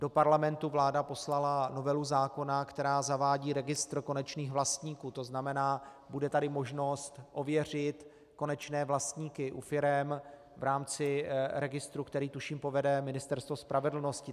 Do Parlamentu vláda poslala novelu zákona, která zavádí registr konečných vlastníků, to znamená, bude tady možnost ověřit konečné vlastníky u firem v rámci registru, který tuším povede Ministerstvo spravedlnosti.